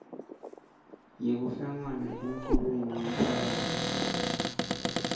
yekuhlangana emculweni yemphakasi